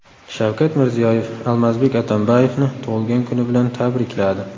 Shavkat Mirziyoyev Almazbek Atambayevni tug‘ilgan kuni bilan tabrikladi.